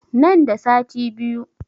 Nan da sati biyu